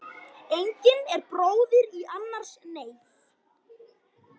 Engin er bróðir í annars neyð.